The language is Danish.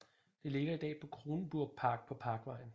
Det ligger i dag i Kronenburgerpark på parkvejen